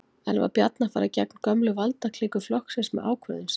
En var Bjarni að fara gegn gömlu valdaklíku flokksins með ákvörðun sinni?